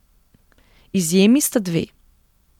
Izjemi sta dve.